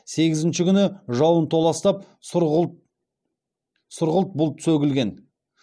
сегізінші күні жауын толастап сұрғылт бұлт сөгілген